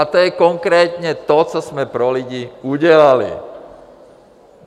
A to je konkrétně to, co jsme pro lidi udělali.